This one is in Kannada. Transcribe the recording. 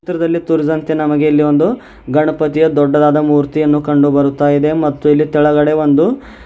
ಚಿತ್ರದಲ್ಲಿ ತೋರಿಸಿದಂತೆ ನಮಗೆ ಇಲ್ಲಿ ಒಂದು ಗಣಪತಿಯ ದೊಡ್ಡದಾದ ಮೂರ್ತಿಯನ್ನು ಕಂಡು ಬರುತ್ತಾ ಇದೆ ಮತ್ತು ಇಲ್ಲಿ ತೆಳಗಡೆ ಒಂದು --